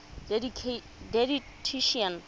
didactician